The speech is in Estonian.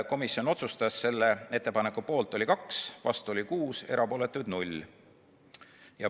Komisjon otsustas: selle ettepaneku poolt oli 2, vastu oli 6, erapooletuid 0.